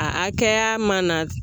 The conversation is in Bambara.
A hakɛya mana